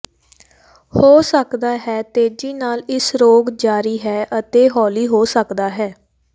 ਹੋ ਸਕਦਾ ਹੈ ਤੇਜ਼ੀ ਨਾਲ ਇਸ ਰੋਗ ਜਾਰੀ ਹੈ ਅਤੇ ਹੌਲੀ ਹੋ ਸਕਦਾ ਹੈ